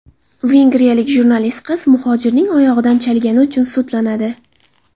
Vengriyalik jurnalist qiz muhojirning oyog‘idan chalgani uchun sudlanadi.